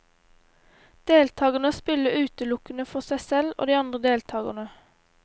Deltagerne spiller utelukkende for seg selv og de andre deltagerne.